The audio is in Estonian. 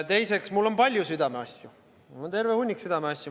Teiseks, mul on palju südameasju, mul on terve hunnik südameasju.